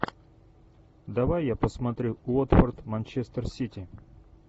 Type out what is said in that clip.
давай я посмотрю уотфорд манчестер сити